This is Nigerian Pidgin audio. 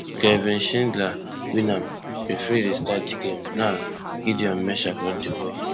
kingsley shindler win am referee restart di game now gideon mensah hold di ball